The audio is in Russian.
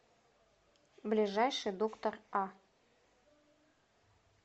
ближайший доктор а